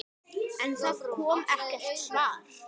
En það kom ekkert svar.